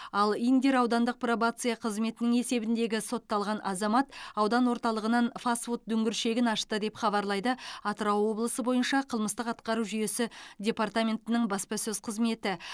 ал индер аудандық пробация қызметінің есебіндегі сотталған азамат аудан орталығынан фаст фуд дүңгіршегін ашты деп хабарлайды атырау облысы бойынша қылмыстық атқару жүйесі департаментінің баспасөз қызметі